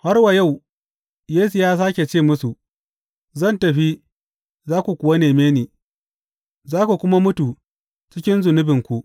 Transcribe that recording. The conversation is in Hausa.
Har wa yau Yesu ya sāke ce musu, Zan tafi, za ku kuwa neme ni, za ku kuma mutu cikin zunubinku.